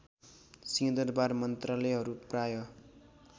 सिहंदरवार मन्त्रालयहरू प्राय